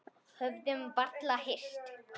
Höfðum varla hist.